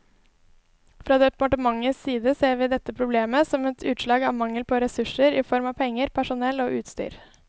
Fra departementets side ser vi dette problemet som et utslag av mangel på ressurser i form av penger, personell og utstyr.